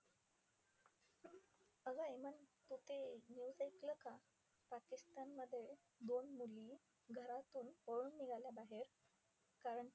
अगं हेमा, तू ते news ऐकलं का? पाकिस्तानमध्ये दोन मुली घरातून पळून निघाल्या बाहेर. कारण त्या